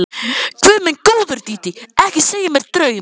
Guð minn góður, Dídí, ekki segja mér draum.